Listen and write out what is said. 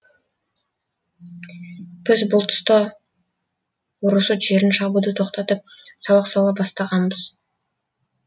біз бұл тұста орұсут жерін шабуды тоқтатып салық сала бастағанбыз